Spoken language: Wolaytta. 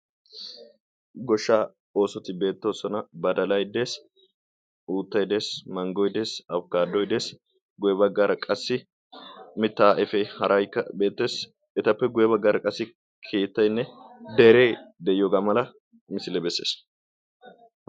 goshshaa oosoti beetto sona badalay de'es utay dees manggoidees aukkadoidees guweeba gara qassi mittaa efee harayka beetteessi etappe guyye baggaara qassi keettaynne deree de'iyoogaa mala misile bessees